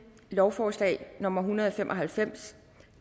lovforslag nummer hundrede og fem og halvfems